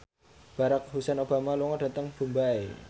Barack Hussein Obama lunga dhateng Mumbai